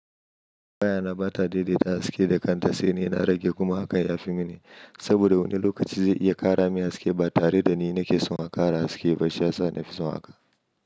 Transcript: Waya na ba ta daidaita haske da kanta, saine na rage kuma hakan ya fi mini. Saboda wani lokaci zai iya ƙara min haske ba tare da ni nake son a ƙara haske ba, shi ya sa na fi son haka.